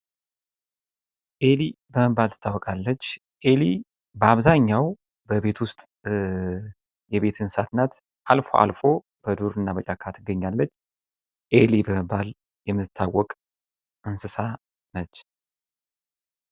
ኤሊ በመባል ትታወቃለች ኤሊ በቤት ውስጥ ትገኛለች አልፎ አልፎም በዱርና በጫካ ትገኛለች ።በመባል የምትታወቅ እንስሳት ነኝ።